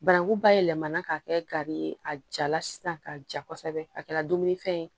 Bananku ba yɛlɛmanna k'a kɛ gari ye a jala sisan k'a ja kosɛbɛ a kɛra dumunifɛn ye